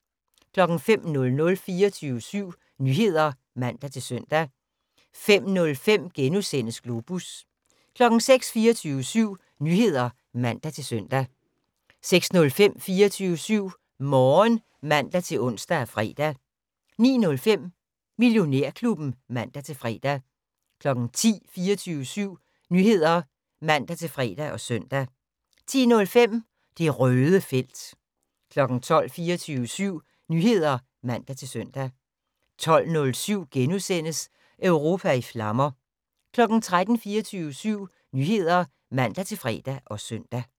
05:00: 24syv Nyheder (man-søn) 05:05: Globus * 06:00: 24syv Nyheder (man-søn) 06:05: 24syv Morgen (man-ons og fre) 09:05: Millionærklubben (man-fre) 10:00: 24syv Nyheder (man-fre og søn) 10:05: Det Røde felt 12:00: 24syv Nyheder (man-søn) 12:07: Europa i flammer * 13:00: 24syv Nyheder (man-fre og søn)